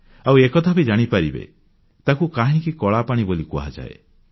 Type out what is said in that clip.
ଆଉ ଏକଥା ବି ଜାଣିପାରିବେ ତାକୁ କାହିଁକି କଳାପାଣି ବୋଲି କୁହାଯାଏ